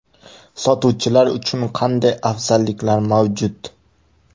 Sotuvchilar uchun qanday afzalliklar mavjud?